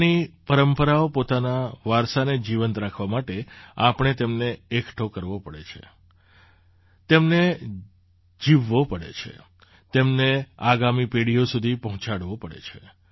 પોતાની પરંપરાઓ પોતાના વારસાને જીવંત રાખવા માટે આપણે તેમને એકઠો કરવો પડે છે તેમને જીવવો પડે છે તેમને આગામી પેઢીઓ સુધી પહોંચાડવો પડે છે